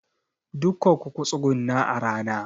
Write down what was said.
Dukanku ku tsuguna a rana!